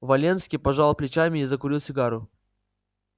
валенский пожал плечами и закурил сигару